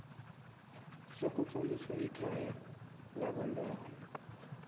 sokutlolisa ikhaya labantwana